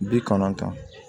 Bi kɔnɔntɔn